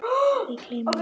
Við gleymum honum!